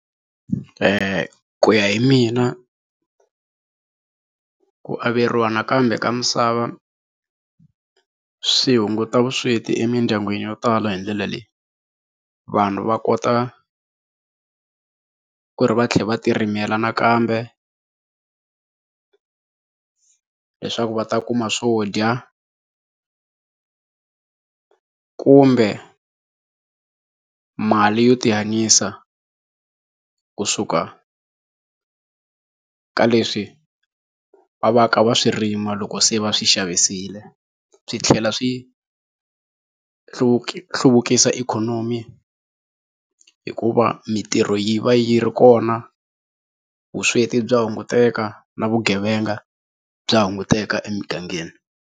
ku ya hi mina ku averiwa nakambe ka misava swi hunguta vusweti emindyangwini yo tala hi ndlela leyi, vanhu va kota ku ri va tlhela va ti rimela nakambe leswaku va ta kuma swo dya kumbe mali yo tihanyisa kusuka ka leswi va va ka va swi rima loko se va swi xavisile swi tlhela swi hluvukisa ikhonomi hikuva mintirho yi va yi ri kona vusweti bya hunguteka na vugevenga bya hunguteka emugangeni.